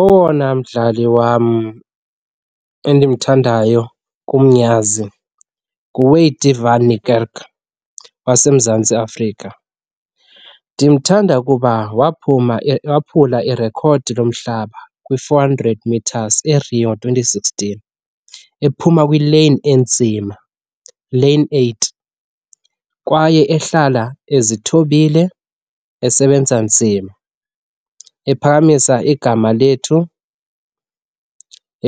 Owona mdlali wam endimthandayo kumnyanzi nguWayde van Niekerk waseMzantsi Afrika. Ndimthanda kuba waphuma waphula irekhodi lomhlaba kwi-four hundred meters eRio twenty sixteen. Ephuma kwileyini enzima, lane eight, kwaye ehlala ezithobile, esebenza nzima, ephakamisa igama lethu